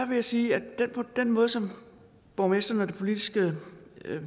vil sige at den måde som borgmesteren og det politiske